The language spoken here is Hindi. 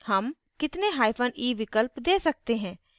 how कितने hyphen e विकल्प दे सकते हैं